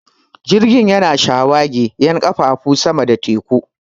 Jirgin yana shawagi 'yan ƙafafu sama da teku